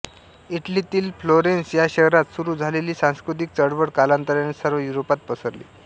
इटलीतील Florence या शहरात सुरू झालेली सांस्कृतिक चळवळ कालांतराने सर्व युरोपात पसरली